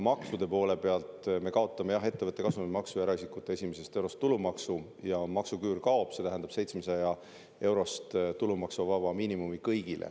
Maksude poole pealt me kaotame ettevõtte kasumimaksu ja eraisikute esimesest eurost tulumaksu ja maksuküür kaob, see tähendab 700-eurost tulumaksuvaba miinimumi kõigile.